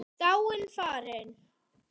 Dáin, farin.